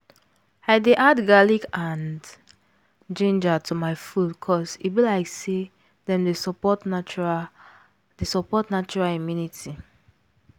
i dey add garlic and ginger to my food cause e be like say dem dey support natural dey support natural immunity